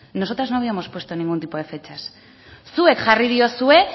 nosotras no habíamos puesto ningún tipo de fechas zuek jarri diozue